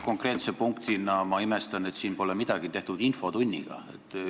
Konkreetsest punktist rääkides ma imestan, et siin pole midagi tehtud infotunniga.